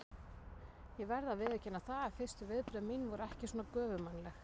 Ég verð að viðurkenna það að fyrstu viðbrögð mín voru ekki svona göfugmannleg.